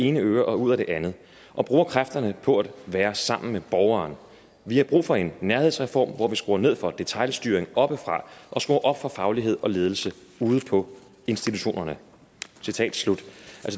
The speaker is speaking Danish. ene øre og ud af det andet og bruger kræfterne på at være sammen med borgeren vi har brug for en nærhedsreform hvor vi skruer ned for detailstyringen oppefra og skruer op for faglighed og ledelse ude på institutionerne